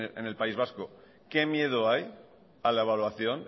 en el país vasco qué miedo hay a la evaluación